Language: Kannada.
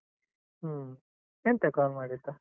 ಹ್ಮ್, ಎಂತಾ call ಮಾಡಿದ್ದ?